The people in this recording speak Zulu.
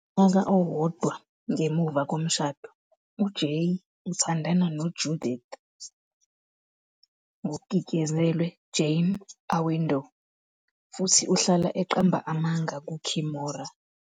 Ngonyaka owodwa ngemuva komshado, uJay uthandana noJudith, Jane Awindor, futhi uhlala eqamba amanga kuKimora.